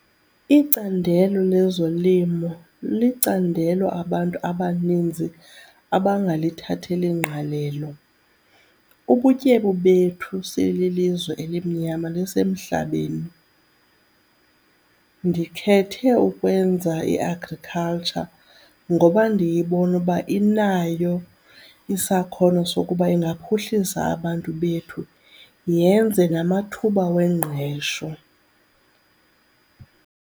Icandelo lezolimo licandelo abantu abaninzi abangalithatheli ngqalelo. Ubutyebi bethu sililizwe elimnyama lisemhlabeni. Ndikhethe ukwenza i-agriculture ngoba ndiyibona uba inayo isakhono sokuba ingaphuhlisa abantu bethu yenze namathuba wengqesho.